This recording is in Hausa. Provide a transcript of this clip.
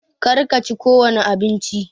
Kar ka chi ko wani abinci!